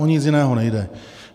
O nic jiného nejde.